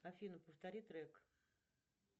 афина повтори трек